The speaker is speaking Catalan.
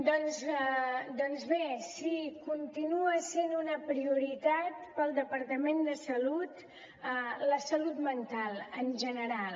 doncs bé sí continua sent una prioritat per al departament de salut la salut mental en general